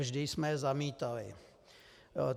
Vždy jsme je zamítali.